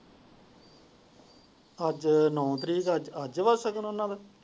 ਅੱਜ ਨੋ ਤਾਰੀਕ ਹੈ ਅੱਜ ਦਾ ਸ਼ਗੁਨ ਹੈ ਉਹਨਾਂ ਦਾ।